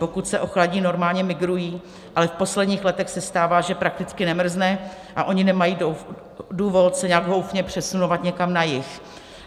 Pokud se ochladí, normálně migrují, ale v posledních letech se stává, že prakticky nemrzne a oni nemají důvod se nějak houfně přesunovat někam na jih.